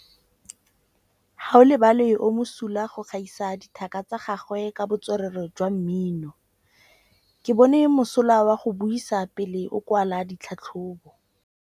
Gaolebalwe o mosola go gaisa dithaka tsa gagwe ka botswerere jwa mmino. Ke bone mosola wa go buisa pele o kwala tlhatlhobô.